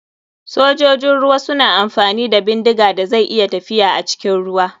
Sojojin ruwa suna amfani da bindiga da zai iya tafiya acikin ruwa.